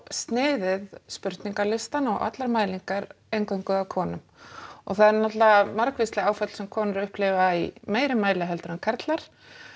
sniðið spurningalistann og allar mælingar eingöngu að konum og það eru náttúrulega margvísleg áföll sem konur upplifa í meira mæli heldur en karlar